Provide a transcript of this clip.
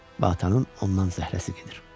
Və atanın ondan zəhləsi gedir.